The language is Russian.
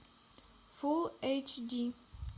фулл эйч ди